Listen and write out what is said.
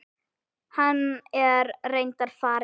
Hann er reyndar farinn til